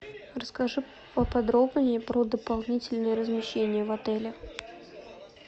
расскажи поподробнее про дополнительное размещение в отеле